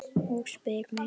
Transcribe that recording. Og spyr mig